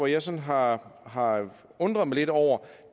jeg sådan har har undret mig lidt over